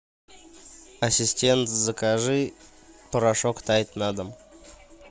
ассистент закажи порошок тайд на дом